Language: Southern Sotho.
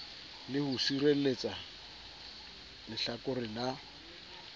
le ho sireletsa lehlakore la